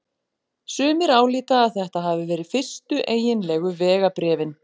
Sumir álíta að þetta hafi verið fyrstu eiginlegu vegabréfin.